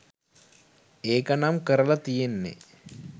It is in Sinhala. ඒක නම් කරලා තියෙන්නේ